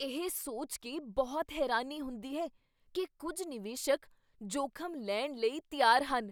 ਇਹ ਸੋਚ ਕੇ ਬਹੁਤ ਹੈਰਾਨੀ ਹੁੰਦੀ ਹੈ ਕੀ ਕੁੱਝ ਨਿਵੇਸ਼ਕ ਜੋਖ਼ਮ ਲੈਣ ਲਈ ਤਿਆਰ ਹਨ।